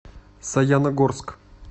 саяногорск